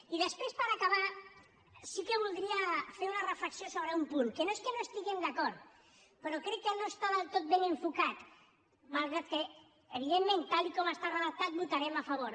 i després per acabar sí que voldria fer una reflexió sobre un punt que no és que no hi estiguem d’acord però crec que no està del tot ben enfocat malgrat que evidentment tal com està redactat hi votarem a favor